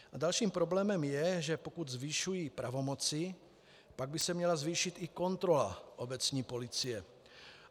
Dalším problémem je, že pokud zvyšuji pravomoci, pak by se měla zvýšit i kontrola obecní policie.